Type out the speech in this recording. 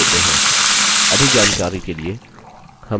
जो online test pass करते हैं उन्हें हम certificates भी देते हैं